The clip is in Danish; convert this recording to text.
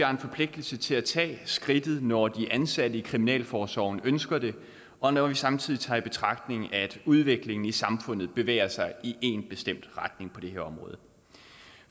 har en forpligtelse til at tage skridtet når de ansatte i kriminalforsorgen ønsker det og når vi samtidig tager i betragtning at udviklingen i samfundet bevæger sig i én bestemt retning på det her område